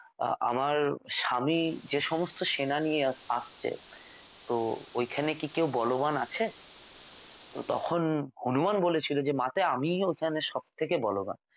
আমার স্বামী যে সমস্ত সেনা নিয়ে আসছে তো ওখানে কি কেউ বলবান আছে তো তখন হনুমান বলেছিল যে মাতে আমিই ওখানে সবথেকে বলবান